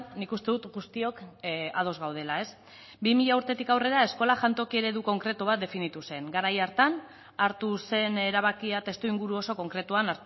nik uste dut guztiok ados gaudela bi mila urtetik aurrera eskola jantoki eredu konkretu bat definitu zen garai hartan hartu zen erabakia testuinguru oso konkretuan